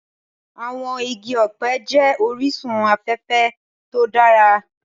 Àwọn igi ọ̀pẹ jẹ́ orísun afẹ́fẹ́ to dára